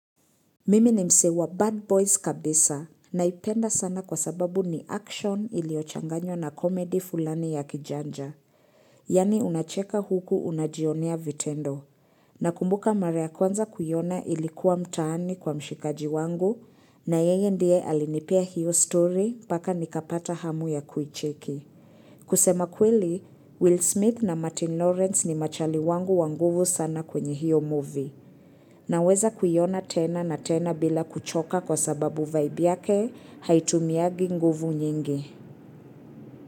Mimi ni msee Bad Boys kabisa naipenda sana kwa sababu ni action iliyochanganywa na comedy fulani ya kijanja. Yaani unacheka huku unajionea vitendo. Nakumbuka mara ya kwanza kuiona ilikuwa mtaani kwa mshikaji wangu na yeye ndiye alinipea hiyo story mpaka nikapata hamu ya kuicheki. Kusema kweli, Will Smith na Martin Lawrence ni machali wangu wanguvu sana kwenye hiyo movie. Naweza kuiona tena na tena bila kuchoka kwa sababu vybe yake, haitumiangi nguvu nyingi.